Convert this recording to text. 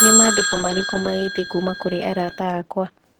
Ni maandĩko marĩkũ magĩte kũũma kũri arata akwa